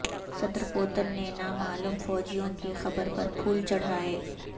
صدر پوتن نے نامعلوم فوجیوں کی قبر پر پھول چڑھائے